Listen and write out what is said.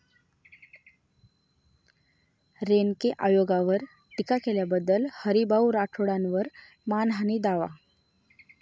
रेणके आयोगावर टीका केल्याबद्दल हरीभाऊ राठोडांवर मानहानी दावा